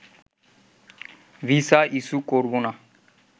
visa issue করবোনা